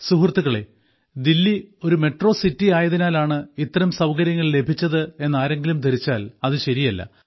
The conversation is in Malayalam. സുഹൃത്തുക്കളേ ഡൽഹിയെന്ന മെട്രോ സിറ്റി ആയതിനാലാണ് ഇത്തരം സൌകര്യങ്ങൾ ലഭിച്ചത് എന്ന് ആരെങ്കിലും ധരിച്ചാൽ അത് ശരിയല്ല